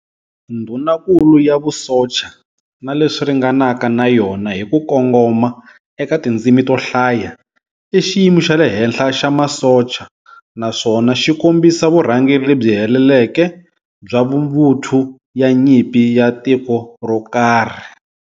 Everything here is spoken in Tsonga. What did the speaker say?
Ndhunankulu ya vusocha, na leswi ringanaka na yona hi ku kongoma eka tindzimi to hlaya, i xiyimo xale henhla xa masocha, naswona xikombisa vurhangeri lebyi heleleke bya mvuthu ya nyimpi ya tiko rokarhi.